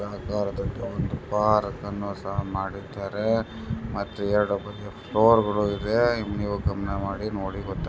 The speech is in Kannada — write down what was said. ಒಂದು ದೊಡ್ಡ ಬಾರನ್ನು ಸಹ ಮಾಡಿದ್ದಾರೆ ಪಕ್ಕ ಯಾವ್ದೋ ಒಂದು ಮ್ಯೂಸಿಯಂ ಸಹ ಇದೆ.